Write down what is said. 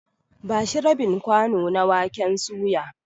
Ba shi rabin kwano na waken suya.